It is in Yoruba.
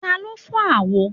Taló fọ́ àwo?